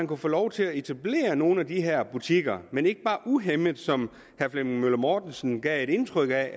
kunne få lov til at etablere nogle af de her butikker men ikke bare uhæmmet som herre flemming møller mortensen gav et indtryk af